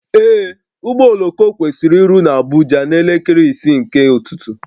Ee, ụgbọ oloko kwesịrị iru na Abuja na elekere isii nke ụtụtụ